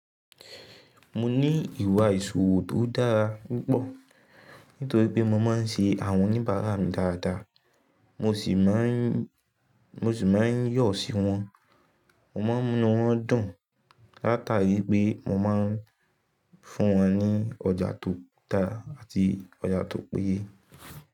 Mo ní ìwà ìṣòwò tó dára púpọ̀ nítorí pé mo máa ń ṣe àwọn oníbàárà mi dáadáa, mo sì máa ń yọ̀ sí wọn. Mo máa ń mú inu won dùn látàrí pé mo máa ń fún wọn ní ọjà tó dára àti ọjà tó péye.